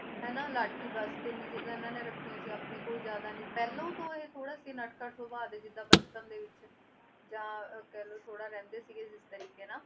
ਹਨਾ, ਲਾਠੀ ਬਸ ਤਿੰਨ ਚੀਜ਼ਾਂ ਇਹਨਾਂ ਨੇ ਰੱਖੀਆਂ ਸੀ ਆਪਣੇ ਕੋਈ ਜ਼ਿਆਦਾ ਨੀ, ਪਹਿਲਾਂ ਤਾਂ ਇਹ ਥੋੜ੍ਹਾ ਸੀ ਨਟਖਟ ਸੁਭਾ ਦੇ ਜਿੱਦਾਂ ਬਚਪਨ ਦੇ ਵਿੱਚ, ਜਾਂ ਕਹਿ ਲਓ ਥੋੜ੍ਹਾ ਰਹਿੰਦੇ ਸੀਗੇ ਜਿਸ ਤਰੀਕੇ ਨਾਲ